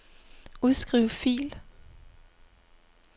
Udskriv fil.